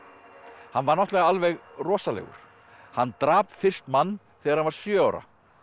hann var náttúrulega alveg rosalegur hann drap fyrst mann þegar hann var sjö ára